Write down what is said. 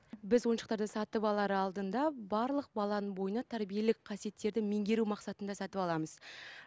біз ойыншықтарды сатып алар алдында барлық баланың бойына тәрбиелік қасиеттерді меңгеру мақсатында сатып аламыз